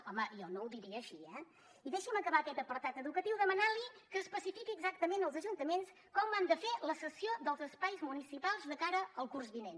home jo no ho diria així eh i deixi’m acabar aquest apartat educatiu demanant li que especifiqui exactament als ajuntaments com han de fer la cessió dels espais municipals de cara al curs vinent